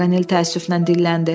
Paqanel təəssüflə dilləndi.